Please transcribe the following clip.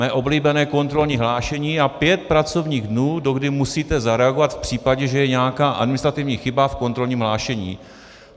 Mé oblíbené kontrolní hlášení a pět pracovních dnů, dokdy musíte zareagovat v případě, že je nějaká administrativní chyba v kontrolním hlášení.